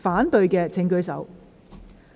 反對的請舉手。